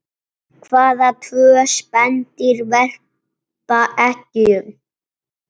Hvaða tvö spendýr verpa eggjum?